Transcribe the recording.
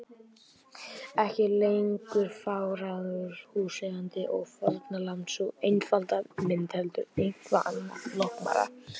Ekki lengur fégráðugur húseigandi og fórnarlamb, sú einfalda mynd, heldur eitthvað annað, flóknara.